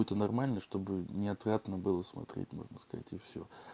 это нормально чтобы не отвратно было смотреть можно сказать и все